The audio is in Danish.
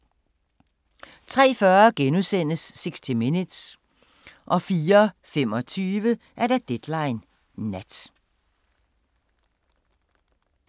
03:40: 60 Minutes * 04:25: Deadline Nat